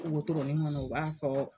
wotoronin ŋɔnɔ u b'a fɔ